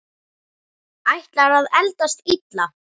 Ætlar að eldast illa.